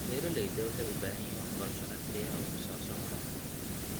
Beeralayda waxay u baahan yihiin waxbarasho casri ah oo ku saabsan waraabka.